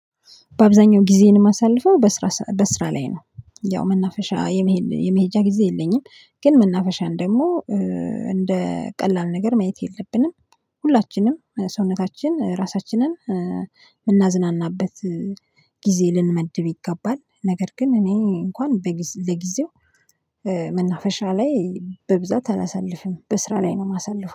በአብዛኛው ጊዜዬን እማሳልፈው በስራ ላይ ነው። ያው መናፈሻ የመሄጃ ጊዜ የለኝም። ግን መናፈሻን ደግሞ እንደ ቀላል ነገር ማየት የለብንም። ሁላችንም ሰውነታችን ራሳችንን እምናዝናናበት ጊዜ ልንመድብ ይገባል። ነገር ግን እኔ እንኳን ለጊዜው መናፈሻ ላይ በብዛት አላሳልፍም በስራ ላይ ነው እማሳልፈው